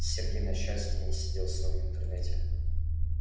сергей на счастье не сидел в своём интернете